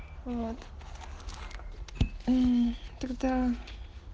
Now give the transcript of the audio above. вот м тогда